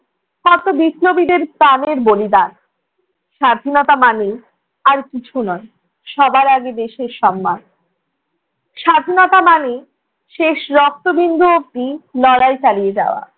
কত বিপ্লবীদের প্রাণের বলিদান, স্বাধীনতা মানে আর কিছু নয় সবার আগে দেশের সম্মান। স্বাধীনতা মানে শেষ রক্তবিন্দু অবধি লড়াই চালিয়ে যাওয়া